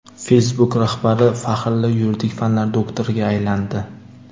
Facebook rahbari faxrli yuridik fanlar doktoriga aylandi.